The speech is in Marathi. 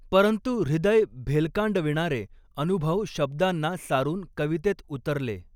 परंतु हृदय भेलकांडविणारे अनुभव शब्दांना सारुन कवितेत उतरले.